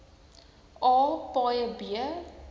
a paaie b